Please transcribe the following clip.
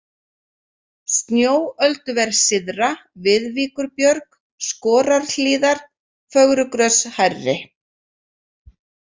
Snjóölduver syðra, Viðvíkurbjörg, Skorarhlíðar, Fögrugrös/hærri